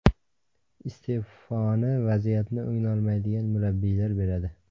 Iste’foni vaziyatni o‘nglolmaydigan murabbiylar beradi.